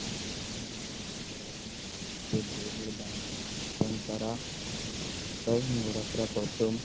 এর দ্বারা এমনি ঘোরাফেরা করতুম ।